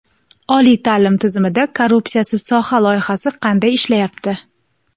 Oliy ta’lim tizimida "korrupsiyasiz soha" loyihasi qanday ishlayapti?.